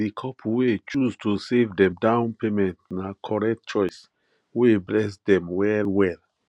di couple wey choose to save dem down payment na correct choice wey bless dem well well